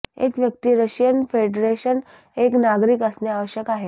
एक व्यक्ती Russian Federation एक नागरिक असणे आवश्यक आहे